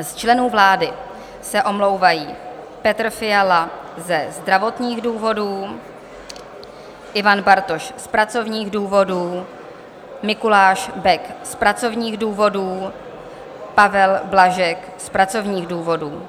Z členů vlády se omlouvají: Petr Fiala ze zdravotních důvodů, Ivan Bartoš z pracovních důvodů, Mikuláš Bek z pracovních důvodů, Pavel Blažek z pracovních důvodů,